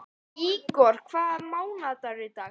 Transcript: Ígor, hvaða mánaðardagur er í dag?